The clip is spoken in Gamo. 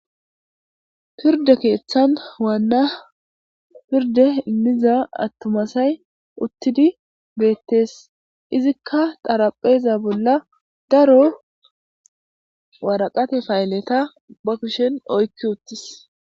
Pirde keeththan waanna pirde immiza attuma asay uttidi beettees .Izikka xarapheza bolla daro woraqate payilleta ba kushen oykki uttis.